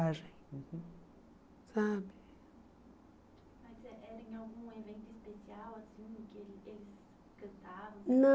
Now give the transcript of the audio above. uhum sabe. Mas eh era em algum evento especial assim que ele ele cantava?